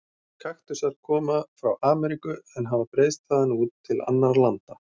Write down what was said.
Kaktusar koma frá Ameríku en hafa breiðst þaðan út til annarra landa.